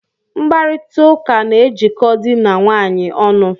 Mkparita ụka na ejiko dị na nwaanyị ọnụ.